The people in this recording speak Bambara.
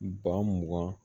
Ba mugan